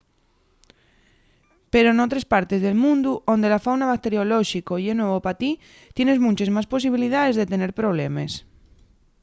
pero n’otres partes del mundu onde la fauna bacteriolóxico ye nuevo pa ti tienes munches más posibilidaes de tener problemes